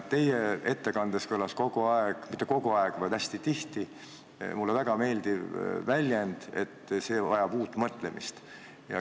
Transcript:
Teie ettekandes kõlas hästi tihti mulle väga meeldiv väljend, et see vajab uut mõtlemist.